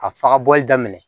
Ka faga bɔli daminɛ